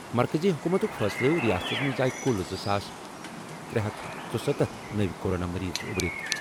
مرکزی حکومتُک فٲصلہٕ۔ رِیاستس منٛز آیہِ کُل زٕ ساس ترے ہتھ ژُستتھ نٔوِ کورونا مٔریٖض اُبرِتھ۔